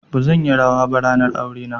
Bazan yi rawa ba ranar aure na.